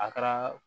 A kɛra